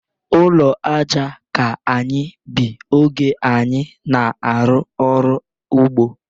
Ụlọ aja ka anyị bi oge anyị na-arụ ọrụ ugbo.